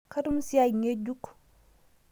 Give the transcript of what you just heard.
Katumo siai ng'ejuk